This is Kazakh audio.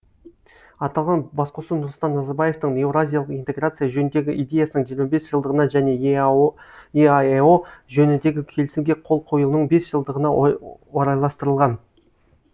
аталған басқосу нұрсұлтан назарбаевтың еуразиялық интеграция жөніндегі идеясының жиырма бес жылдығына және еаэо жөніндегі келісімге қол қойылуының бес жылдығына орайластырылған